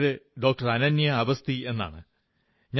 എന്റെ പേര് ഡോക്ടർ അനന്യാ അവസ്ഥി എന്നാണ്